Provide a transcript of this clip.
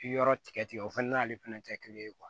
Yɔrɔ tigɛ tigɛ o fɛnɛ n'ale fɛnɛ te kelen ye